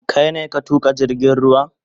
Kar ne a tuka jirgin ruwan?